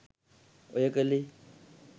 ඔය කලේ